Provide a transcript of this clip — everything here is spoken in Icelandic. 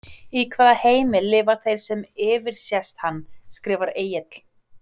Í hvaða heimi lifa þeir sem yfirsést hann? skrifar Egill.